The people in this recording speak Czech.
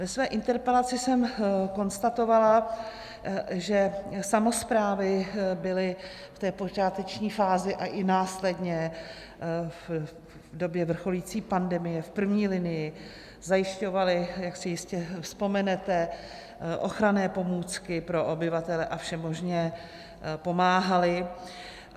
Ve své interpelaci jsem konstatovala, že samosprávy byly v té počáteční fázi, ale i následně v době vrcholící pandemie v první linii, zajišťovaly, jak si jistě vzpomenete, ochranné pomůcky pro obyvatele a všemožně pomáhaly.